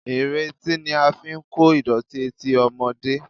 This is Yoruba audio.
Ìretí ni a fi ń kó ìdọ̀tí etí ọmọdé